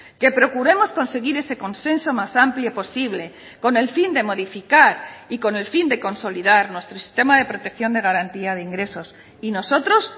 que procuremos conseguir ese consenso más amplio posible con el fin de modificar y con el fin de consolidar nuestro sistema de protección de garantía de ingresos y nosotros